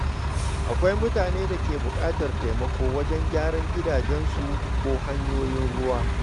Akwai mutanen da ke buƙatar taimako wajen gyaran gidajensu ko hanyoyin ruwa.